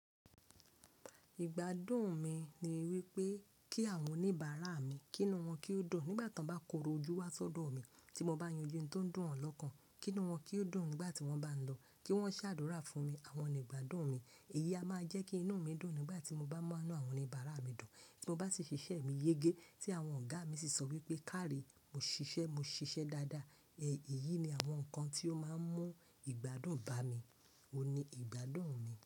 Ìgbádùn mi ni wípé kí àwọn oníbàárà mi, kí inú wọn kí ó dùn nígbà tí wọ́n bá korò ojú wá sọ́dọ̀ mi tí mo bá yanju ohun tó ń dùn wọn lọ́kàn, kí inú wọn kí ó dùn nígbà tí wọ́n bá ń lọ, kí wọ́n ṣèdúrà fún mi, àwọn onígbádùn mi. Èyí a máa jẹ́ kí inú mi dùn nígbà tí mo bá ma nú àwọn oníbàárà mi dùn. Tí mo bá sì ṣiṣẹ́ mi yẹ́gẹ́, tí àwọn ọ̀gá mi sì sọ wípé kárí, mo ṣiṣẹ́, mo ṣiṣẹ́ dáadáa. Ẹ̀yin ni àwọn nǹkan tí ó máa ń mú ìgbádùn bá mi. Ó ní ìgbádùn mi.